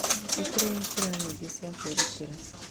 Nĩ kũrĩ njĩra nyingĩ cia kwĩrutĩra.